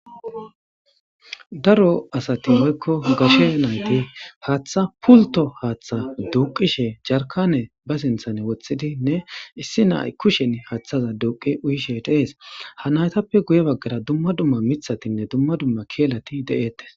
Daro asata woykko gashe nayiti haththa pulito haththa duqishe jarikane haththara wotidine issi nayi kushe haththaza duqi uyishe de'es.ja natappe guye baggara dumma dumma mithatine dumma dumma kelati deetes.